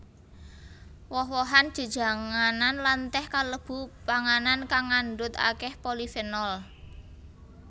Woh wohan jejanganan lan teh kalebu panganan kang ngandhut akèh polifenol